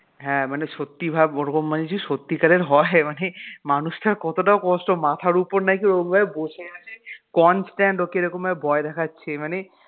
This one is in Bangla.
হ্যাঁ মানে সত্যি ভাব ওরকম মানুষের সত্যিকারের হয় মানে মানুষটার কতটা কষ্ট মাথার ওপর নাকি ওরম ভাবে বসে আছে constant ওকে এরম ভাবে ভয় দেখাচ্ছে মানে